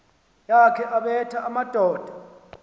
yakhe ebetha amadoda